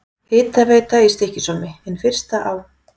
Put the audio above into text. Hitaveita í Stykkishólmi, hin fyrsta á